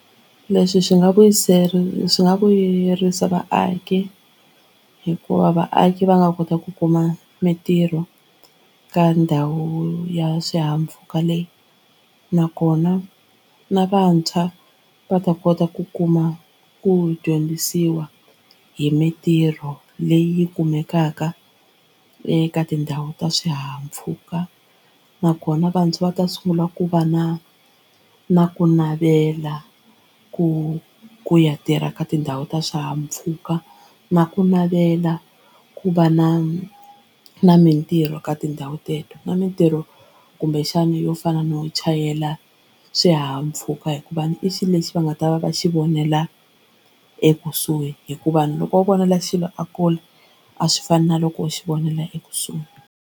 Leswi swi nga swi nga vuyerisa vaaki hikuva vaaki va nga kota ku kuma mitirho ka ndhawu ya swihahampfhuka leyi nakona na vantshwa va ta kota ku kuma ku dyondzisiwa hi mitirho leyi kumekaka eka tindhawu ta swihahampfhuka nakona vantshwa va ta sungula ku va na na ku navela ku ku ya tirha ka tindhawu ta swihahampfhuka na ku navela ku va na na mitirho ka tindhawu teto na mitirho kumbe xana yo fana no chayela xihahampfhuka hikuva i xilo lexi va nga ta va ka xi vonela ekusuhi hikuva ni loko va vonela xilo a kule a swi fani na loko u xi vonela ekusuhi.